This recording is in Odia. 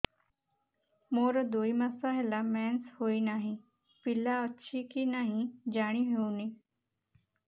ମୋର ଦୁଇ ମାସ ହେଲା ମେନ୍ସେସ ହୋଇ ନାହିଁ ପିଲା ଅଛି କି ନାହିଁ ଜାଣି ହେଉନି